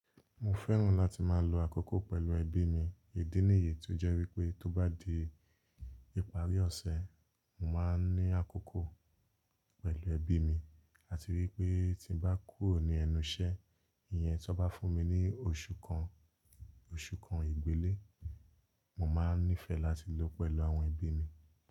Mo fẹ́ràn láti máa lo àkókò pẹ̀lú ẹbí mi. Ìdí nìyí tí ó jẹ́ wípé tó bá di ìparí ọ̀sẹ̀, mo máa ń ní àkókò pẹ̀lú ẹbí mi àti wípé tí ń bá kúrò ní ẹnu iṣẹ́, ìyẹn tó bá fún mi ní oṣù kan, oṣù kan ìgbélé, mo máa ń nífẹ̀ẹ́ láti lò pẹ̀lú àwọn ẹbí mi.